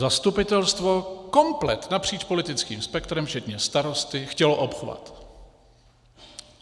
Zastupitelstvo komplet napříč politickým spektrem, včetně starosty, chtělo obchvat.